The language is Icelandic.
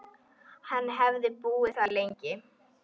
Hann hefði búið þar lengi.